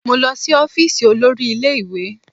Mo lọ sí ọ́fíìsì olórí ilé ìwé